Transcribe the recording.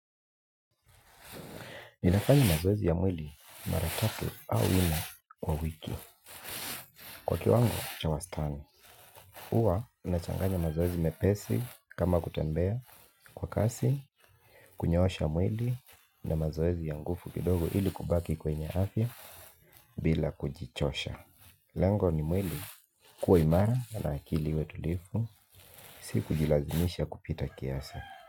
Ninafanya mazoezi ya mwili mara tatu au nne kwa wiki. Kwa kiwango, cha wastani. Huwa, nachanganya mazoezi mepesi kama kutembea kwa kasi, kunyoosha mwili na mazoezi ya nguvu kidogo ili kubaki kwenye afya bila kujichosha. Lengo ni mwili kuwa imara na akili iwe tulivu, si kujilazimisha kupita kiasi.